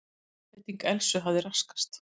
Einbeiting Elsu hafði raskast.